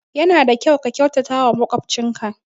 Ya na da kyau ka kyautata wa makwabcin ka